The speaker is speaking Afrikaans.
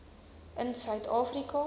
in suid afrika